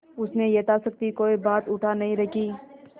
उसने यथाशक्ति कोई बात उठा नहीं रखी